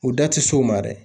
U da ti s'o ma dɛ.